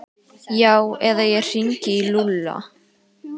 Já eða ég hringi í Lúlla.